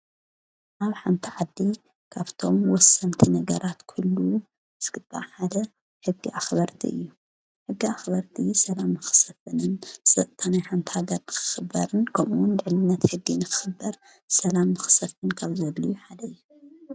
ናብ ሓንቲ ዓዲ ካብቶም ወሰንቲ ነገራት ክህልው ዝግባእ ሓደ ሕጊ ኣኽበርቲ እዩ፡፡ ሕጊ ኣኽበርቲ ሰላም ንኽሰፍንን ናይ ሓንቲ ሃገር ንክኽበርን ከምውን ልዕልነት ሕጊ ንኽበር ሰላም ንኽሰፍን ካብ ዘድልዩ ሓደ እዩ፡፡